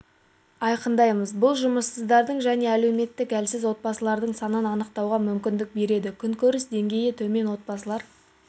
айқындаймыз бұл жұмыссыздардың және әлеуметтік әлсіз отбасылардың санын анықтауға мүмкіндік береді күнкөріс деңгейі төмен отбасылар